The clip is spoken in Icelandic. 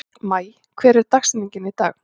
Maj, hver er dagsetningin í dag?